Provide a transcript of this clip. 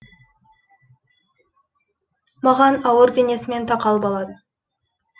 маған ауыр денесімен тақалып алады